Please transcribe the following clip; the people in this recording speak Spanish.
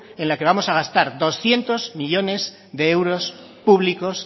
en la que vamos a gastar doscientos millónes de euros públicos